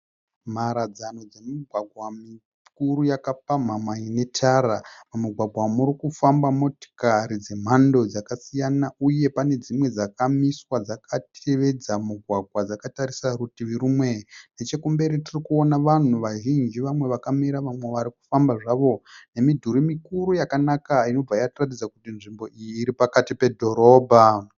Mharadzano dzemigwagwa mikuru yakapamhama ine tara. Mumugwagwa umu murikufamba motokari dzakasiyana uye pane dzimwe dzakamiswa dzakatevedza mugwagwa dzakatarisa rutivi rumwe. Nechekumberi tirikuona vanhu vazhinji vamwe vakamira vamwe varikufamba zvavo nemidhuri mikuru yakanaka inobva yatiratidza kuti nzvimbo iyi iri pakati pedhorobha.